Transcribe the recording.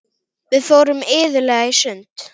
Við fórum iðulega í sund.